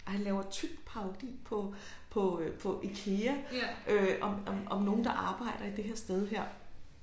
Og han laver tyk parodi på på øh på Ikea om nogen der arbejder i det her sted her